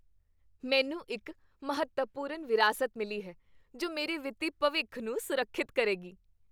ਮੈਨੂੰ ਇੱਕ ਮਹੱਤਵਪੂਰਨ ਵਿਰਾਸਤ ਮਿਲੀ ਹੈ ਜੋ ਮੇਰੇ ਵਿੱਤੀ ਭਵਿੱਖ ਨੂੰ ਸੁਰੱਖਿਅਤ ਕਰੇਗੀ।